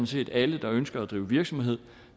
set alle der ønsker at drive virksomhed